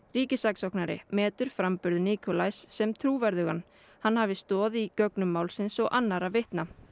ríkissaksóknari metur framburð sem trúverðugan hann hafi stoð í gögnum málsins og annarra vitna